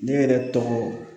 Ne yɛrɛ tɔgɔ